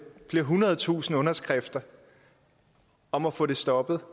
flere hundrede tusinde underskrifter om at få det stoppet